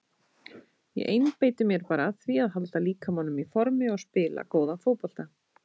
Ég einbeiti mér bara að því að halda líkamanum í formi og spila góðan fótbolta.